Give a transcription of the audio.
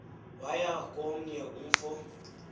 waya komnye umfo